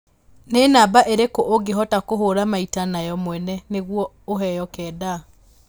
nĩ namba ĩrĩkũ ũngĩhota kũhura maita na yo mwene nĩguo ũheo kenda